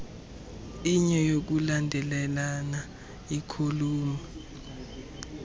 inye yokulandelelana ikholamu